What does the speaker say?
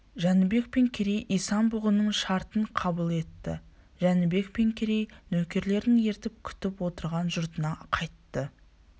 жәнібек пен керей исан-бұғының шартын қабыл етті жәнібек пен керей нөкерлерін ертіп күтіп отырған жұртына қайтты